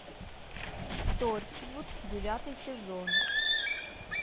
торчвуд девятый сезон